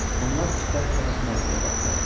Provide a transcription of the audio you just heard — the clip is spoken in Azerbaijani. Onlar istər-istəməz Maqliyə baxdılar.